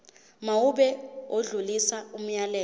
mawube odlulisa umyalezo